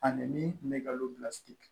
Ani min kun bɛ nkalon bilasira